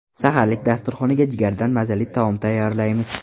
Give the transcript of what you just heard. Saharlik dasturxoniga jigardan mazali taom tayyorlaymiz.